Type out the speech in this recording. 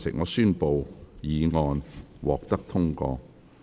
我宣布議案獲得通過。